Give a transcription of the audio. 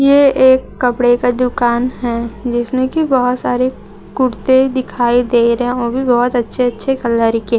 ये एक कपड़े का दुकान है जिसमें की बहोत सारी कुर्ते दिखाई दे रहे हैं। वह भी बहोत अच्छे अच्छे कलर के।